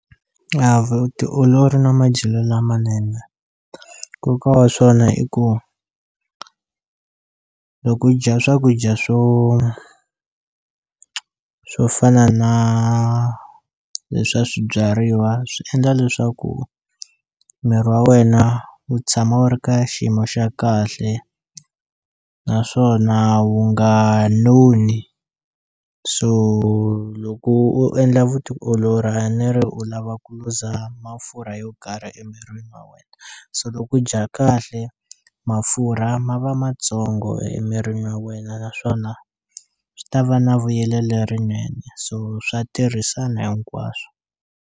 Vutiolori no madyelo lamanene Nkoka wa swona i ku loko u dya swakudya swo swo fana na leswa swibyariwa swi endla leswaku miri wa wena wu tshama wu ri ka xiyimo xa kahle naswona wu nga noni so loko u endla vutiolori a ni ri u lava ku luza mafurha yo karhi emirini wa wena so loko u dya kahle mafurha ma va matsongo emirini wa wena naswona swi ta va na vuyele lerinene so swa tirhisana hinkwaswo.